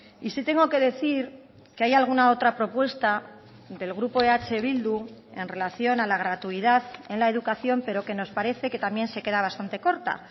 y sí tengo que decir que hay alguna otra propuesta del grupo eh bildu en relación a la gratuidad en la educación pero que nos parece que también se queda bastante corta